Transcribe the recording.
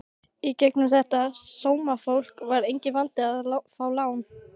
Í gegnum þetta sómafólk var enginn vandi að fá lán.